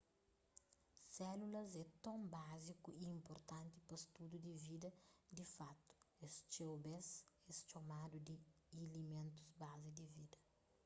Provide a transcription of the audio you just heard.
sélulas é ton báziku y inpurtanti pa studu di vida di fatu es txeu bês es txomadu di iliméntus bazi di vida